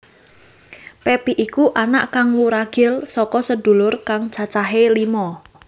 Pepi iku anak kang wuragil saka sedulur kang cacahe lima